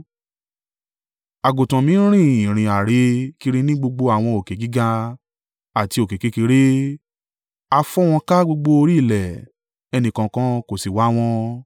Àgùntàn mi n rin ìrìn àrè kiri ní gbogbo àwọn òkè gíga àti òkè kékeré. A fọ́n wọn ká gbogbo orí ilẹ̀ ẹni kankan kò sì wá wọn.